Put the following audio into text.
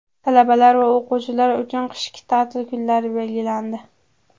Talabalar va o‘quvchilar uchun qishki ta’til kunlari belgilandi.